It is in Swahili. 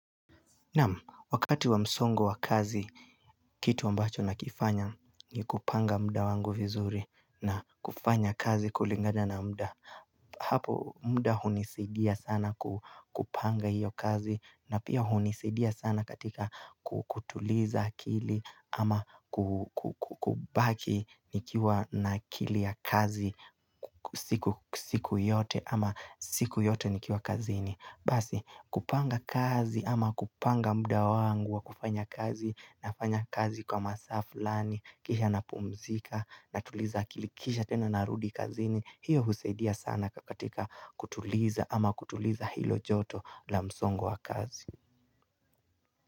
Naam, wakati wa msongo wa kazi, kitu ambacho nakifanya ni kupanga mda wangu vizuri na kufanya kazi kulingana na mda Hapo mda hunisidia sana kupanga hiyo kazi na pia hunisidia sana katika kutuliza akili ama kubaki nikiwa na kili ya kazi siku yote ama siku yote nikiwa kazini Basi kupanga kazi ama kupanga mda wangu wa kufanya kazi nafanya kazi kwa masaa flani Kisha napumzika natuliza akili kisha tena narudi kazini hiyo husaidia sana kakatika kutuliza ama kutuliza hilo joto la msongo wa kazi.